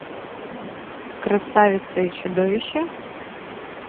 красавица и чудовище